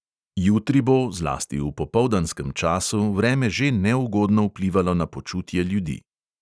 Jutri bo, zlasti v popoldanskem času, vreme že neugodno vplivalo na počutje ljudi.